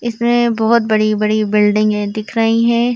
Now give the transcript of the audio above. इसमें बहोत बड़ी बड़ी बिल्डिंगे दिख रही हैं।